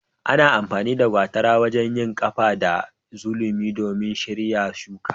Ana amfani da gwatara wajen yin kaba da sulumi domin shirya shuki.